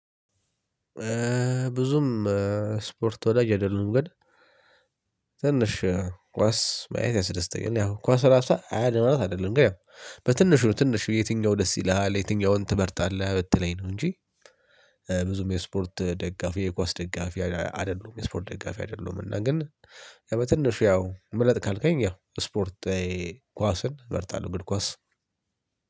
ብዙም ስፖርት ወዳጅ አይደሉዉም ግን ትንሽ ኳስ ማየት ያስደስተኛል። ያው ኳስ ራሷ አያድንም ማለት አይደለም ግን በትንሹ ትንሹ ዬትኛው ደስ ይልሃል ዬትኛውን ትመርጣለህ ብትለኝ ነው እንጂ ብዙም ስፖርት ወዳጅ አይደሉዉም ግን ትንሽ ኳስ ማየት ያስደስተኛል። ያው ኳስ ራሷ አያድንም ማለት አይደለም ግን በትንሹ ትንሹ ዬትኛው ደስ ይልሃል ዬትኛውን ትመርጣለህ ብትለኝ ነው እንጂ በትንሹ ያው ምረጥ ካልከኝ ያው ስፖርታዊ ኳስን እመርጣለሁ አር ኳስ